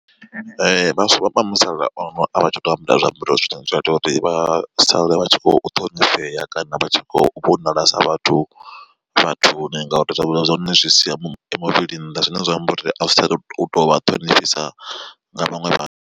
Vhaswa vha musala uno avha tsha to ambara zwiambaro zwine zwa ita uri vha sale vha tshi kho ṱhonifhea kana vha tshi khou vhonala sa vhathu vhathuni ngauri zwiambaro zwa hone zwi sia muvhili nnḓa zwine zwa amba uri a zwi tsha to vha ṱhonifhisa nga vhaṅwe.